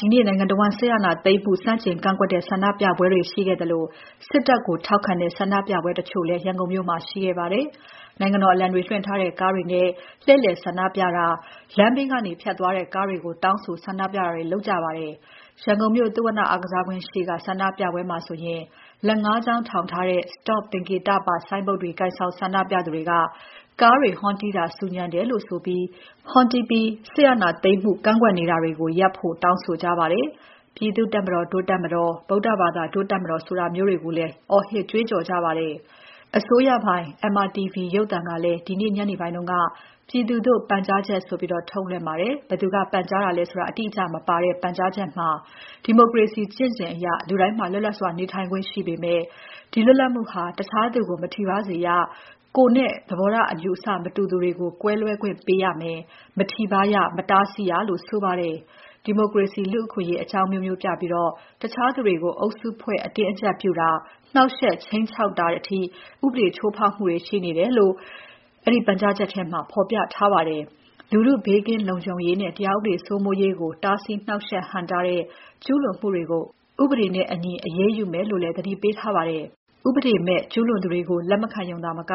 ဒီနေ့ နိုင်ငံတဝန်း စစ်အာဏာသိမ်းမှု ဆန့်ကျင်ကန့်ကွက်တဲ့ ဆန္ဒပြပွဲတွေ ရှိခဲ့သလို စစ်တပ်ကိုထောက်ခံတဲ့ ဆန္ဒပြပွဲတချို့ ရန်ကုန်မြို့မှာ ရှိခဲ့ပါတယ်။ နိုင်ငံတော်အလံတွေ လွှင့်ထူထားတဲ့ ကားတွေနဲ့ လှည့်လည်ဆန္ဒပြတာ၊ လမ်းဘေးကနေ ဖြတ်သွားတဲ့ကားတွေကို တောင်းဆိုဆန္ဒပြတာတွေ လုပ်ပါတယ်။ ရန်ကုန်မြို့ သုဝဏအားကစားကွင်းရှေ့က ဆန္ဒပြပွဲမှာဆို လက် ၅ ချောင်းထောင်ထားတဲ့ Stop သင်္ကေတပါ ဆိုင်းပုဒ်တွေ ကိုင်ဆောင်ဆန္ဒပြသူတွေက ကားတွေဟွန်းတီးတာ ဆူညံတယ်လို့ဆိုပြီး ဟွန်းတီးပြီး စစ်အာဏာသိမ်းမှုကန့်ကွက်နေတာတွေကို ရပ်ဖို့ တောင်းဆိုကြပါတယ်။ ပြည်သူ့တပ်မတော် ဒို့တပ်မတော်၊ ဗုဒ္ဓဘာသာ ဒို့တပ်မတော်ဆိုတာမျိုးတွေလည်း အော်ဟစ်ကြွေးကြော်ကြပါတယ်။ အစိုးရပိုင် MRTV ရုပ်သံကလည်း ဒီနေ့ညနေပိုင်းက ပြည်သူသို့ ပန်ကြားချက်ဆိုပြီး ထုတ်လွှင့်ပါတယ်။ ဘယ်သူက ပန်ကြားတာလဲဆိုတာ အတိအကျမပါတဲ့ ပန်ကြားချက်မှာ ဒီမိုကရေစီ ကျင့်စဉ်အရ လူတိုင်းမှာ လွတ်လွပ်စွာ နေထိုင်ခွင့်ရှိပေမဲ့ ဒီလွတ်လပ်မှုဟာ တခြားသူကို မထိပါးစေရ ကိုယ်နဲ့ သဘောထားအယူအဆ မတူသူကို ကွဲလွဲခွင့်ပေးရမယ် မထိပါးရ၊ မတားဆီးရလို့ ဆိုပါတယ်။ ဒီမိုကရေစီ၊ လူ့အခွင့်အရေး အကြောင်းအမျိုးမျိုးပြပြီး တခြားသူတွေကို အုပ်စုဖွဲ့ အတင်းအကြပ်ပြုတာ၊ နှောင့်ယှက်၊ ခြိမ်းခြောက်တာအထိ ဥပဒေချိုးဖောက်မှုတွေ ရှိတယ်လို့ အဲဒီပန်ကြားချက်မှာဖော်ပြထားပါတယ်။ လူထု ဘေးကင်းလုံခြုံရေးနဲ့ တရားဥပဒေစိုးမိုးရေးကို တားဆီး နှောင့်ယှက် ဟန့်တားတဲ့ ကျူးလွန်မှုတွေ ဥပဒေနဲ့အညီ အရေးယူမယ်လို့လည်း သတိပေးထားပါတယ်။ ဥပဒေမဲ့ ကျူးလွန်သူတွေကို လက်မခံရုံသာမက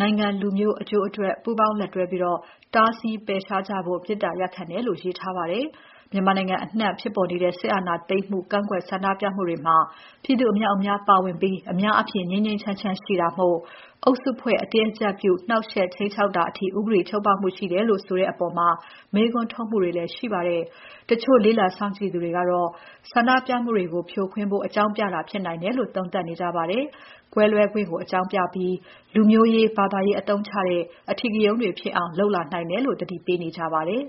နိုင်ငံ၊ လူမျိုး အကျိုးအတွက် ပူးပေါင်းလက်တွဲပြီး တားဆီး ပယ်ရှားကြဖို့ မေတ္တာရပ်ခံတယ်လို့ ရေးထားပါတယ်။ မြန်မာနိုင်ငံအနှံ့ ဖြစ်ပေါ်နေတဲ့ စစ်အာဏာသိမ်းမှု ကန့်ကွက်ဆန္ဒပြမှုတွေမှာ ပြည်သူအမြောက် ပါဝင်ပြီး အများအားဖြင့် ငြိမ်းငြိမ်းချမ်းချမ်းရှိတာမို့ အုပ်စုဖွဲ့ အတင်းအကြပ်ပြု၊ နှောင့်ယှက်၊ ခြိမ်းခြောက်တာအထိ ဥပဒေချိုးဖောက်မှုတွေ ရှိတယ်လို့ ဆိုတဲ့အပေါ် မေးခွန်းထုတ်မှုတွေ ရှိပါတယ်။ တချို့လေ့လာစောင့်ကြည့်သူတွေကလည်း ဆန္ဒပြမှုတွေကို ဖြိုခွင်းဖို့ အကြောင်းပြတာဖြစ်နိုင်တယ်လို့ သုံးသပ်နေကြပါတယ်။ ကွဲလွဲခွင့်ကို အကြောင်းပြပြီး လူမျိုးရေး ဘာသာရေးအသုံးချတဲ့ အဓိကရုဏ်းတွေ ဖြစ်အောင် လုပ်လာနိုင်တယ်လို့ သတိပေးနေကြပါတယ်။